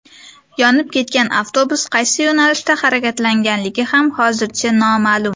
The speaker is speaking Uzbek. Yonib ketgan avtobus qaysi yo‘nalishda harakatlangani ham hozircha noma’lum.